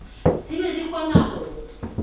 di be di kgona go